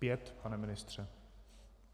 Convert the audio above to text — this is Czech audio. Pět, pane ministře.